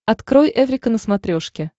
открой эврика на смотрешке